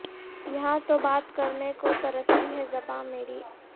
یہاں تو بات کرنے کو ترستی ہے زباں میری